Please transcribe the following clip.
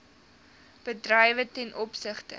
bedrywe ten opsigte